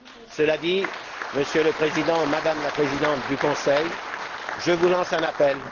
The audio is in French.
Cela dit, Monsieur le Président, Madame la Présidente du Conseil, je vous lance un appel.